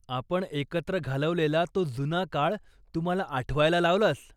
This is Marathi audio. आपण एकत्र घालवलेला तो जुना काळ तू मला आठवायला लावलास.